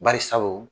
Bari sabu